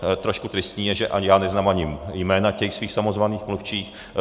Trošku tristní je, že ani já neznám ani jména těch svých samozvaných mluvčích.